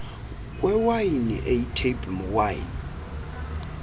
kwewayini eyitable wine